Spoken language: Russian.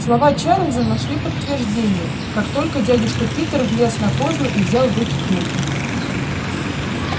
слова чарлза нашли подтверждение как только дядюшка питер влез на козлы и взял в руки кнут